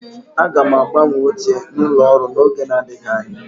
Aga m agbanwe oche n'ụlọ ọrụ n'oge adịghị anya